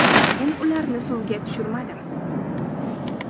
Men ularni suvga tushirmadim.